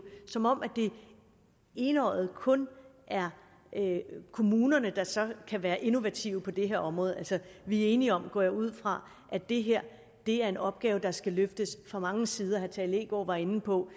som om det enøjet kun er kommunerne der så kan være innovative på det her område vi er enige om går jeg ud fra at det her er en opgave der skal løftes fra mange sider herre tage leegaard var inde på